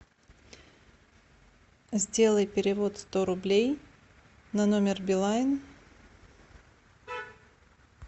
сделай перевод сто рублей на номер билайн